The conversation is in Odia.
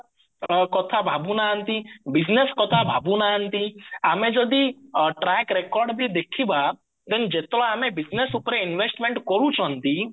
କଥା ଭାବୁନାହାନ୍ତି business କଥା ଭାବୁନାହାନ୍ତି ଆମେ ଯଦି track recordବି ଦେଖିବା then ଯେତେବେଳେ ଆମେ business ଉପରେ investment କରୁଚନ୍ତି